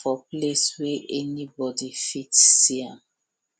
for place wey anybody fit see am